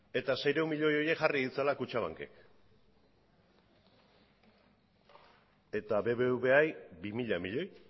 eta seiehun milioi horiek jarri ditzala kutxabankek eta bbvari bi mila milioi